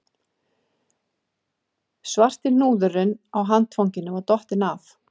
Svarti hnúðurinn á handfanginu var dottinn af